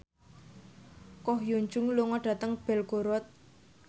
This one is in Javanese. Ko Hyun Jung lunga dhateng Belgorod